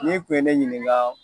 N'i kun ye ne ɲininka